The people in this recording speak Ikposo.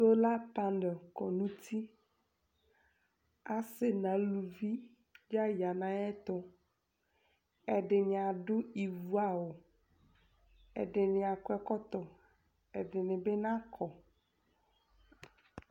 Élapan kɔnu uti Asi nu aluʋi la yana ayɛtu Ɛdini adu ɩʋu awʊ Ɛdini akɔ ɛkɔtɔ Ɛdini bina kɔ